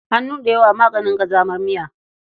Hannu da yawa maganin ƙazamar miya.